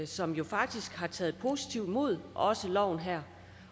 som faktisk har taget positivt imod loven her